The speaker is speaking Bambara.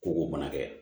Ko o mana kɛ